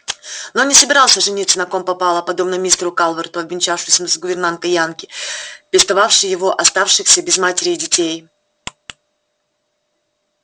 но он не собирался жениться на ком попало подобно мистеру калверту обвенчавшемуся с гувернанткой-янки пестовавшей его оставшихся без матери детей